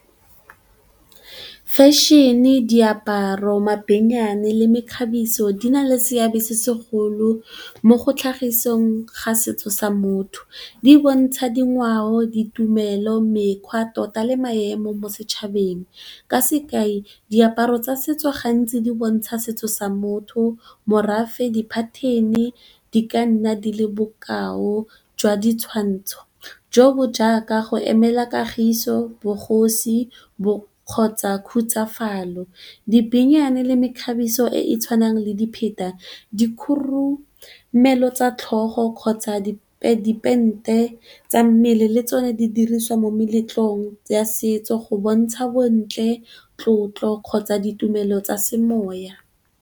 Fashion-e, diaparo, mabenyane le mekgabiso di na le seabe se segolo mo go tlhagisong ga setso sa motho. Di bontsha dingwao, ditumelo, mekgwa tota le maemo mo setšhabeng. Ka sekai, diaparo tsa setso gantsi di bontsha setso sa motho, morafe, di-pattern-e di ka nna di le bokao jwa ditshwantsho jo bo jaaka go emela kagiso, bogosi kgotsa khutsafalo. Dipenyane le mekgabiso e e tshwanang le dipheta, dikhorumelo tsa tlhogo kgotsa dipente tsa mmele le tsone di dirisiwa mo meletlong ya setso go bontsha bontle tlotlo kgotsa ditumelo tsa semoya.